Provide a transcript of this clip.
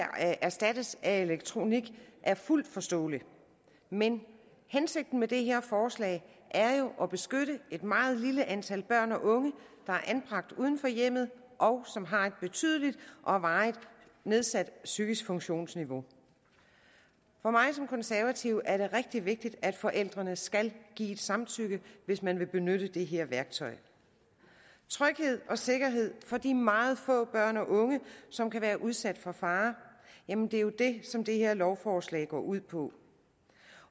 erstattes af elektronik er fuldt forståelig men hensigten med det her forslag er jo at beskytte et meget lille antal børn og unge der er anbragt uden for hjemmet og som har et betydeligt og varigt nedsat psykisk funktionsniveau for mig som konservativ er det rigtig vigtigt at forældrene skal give et samtykke hvis man vil benytte det her værktøj tryghed og sikkerhed for de meget få børn og unge som kan være udsat for fare er jo det som det her lovforslag går ud på